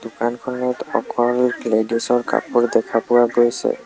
দোকানখনত অকল লেডিছ ৰ কাপোৰ দেখা পোৱা গৈছে।